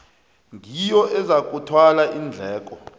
ngiyo ezakuthwala iindleko